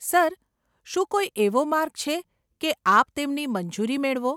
Sir, શું કોઈ એવો માર્ગ છે, કે આપ તેમની મંજૂરી મેળવો?